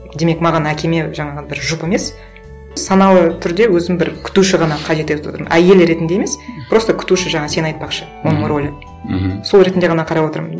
демек маған әкеме жаңағы бір жұп емес саналы түрде өзім бір күтуші ғана қажет етіп отырмын әйел ретінде емес просто күтуші жаңа сен айтпақшы оның рөлі мхм сол ретінде ғана қарап отырмын